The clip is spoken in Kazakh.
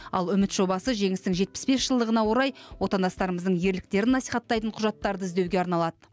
ал үміт жобасы жеңістің жетпіс бес жылдығына орай отандастарымыздың ерліктерін насихаттайтын құжаттарды іздеуге арналады